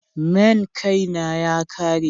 main Kay na ya Kare.